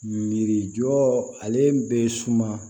Miirijɔ ale bɛ suma